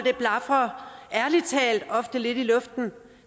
blafrer ærlig talt ofte lidt i luften